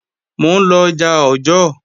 Mò ń lọ ọjà Ọ̀jọ́ọ̀